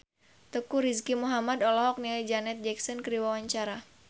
Teuku Rizky Muhammad olohok ningali Janet Jackson keur diwawancara